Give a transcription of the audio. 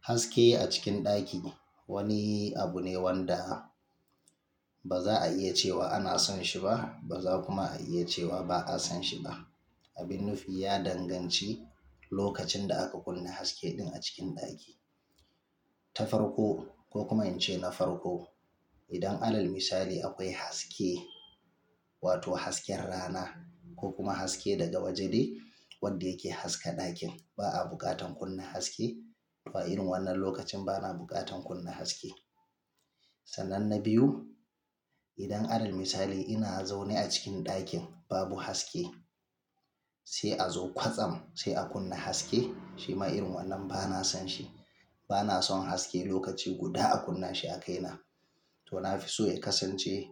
Haske a cikin ɗaki wani abu ne wanda ba za'a iya cewa ana son shi ba, ba za a kuma iya cewa ba a son shi ba. Abin nufi ya danganci lokacin da aka kunna haske din a cikin ɗaki. Ta farko ko kuma in ce na farko, idan alal misali akwai haske wato hasken rana ko kuma haske daga waje wadda yake haska ɗakin, ba a buƙatar kunna haske. To a irin wannan lokacin ba na buƙatan kunna haske. Sannan na biyu, idan alal misali ina zaune a cikin ɗakin babu haske, sai a zo kwatsam sai a kunna haske. Shi ma irin wannan ba na son shi. Ba na son haske lokaci guda a kunna shi a kaina. To na fi so ya kasance